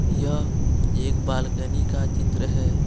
यह एक बालकनी का चित्र है।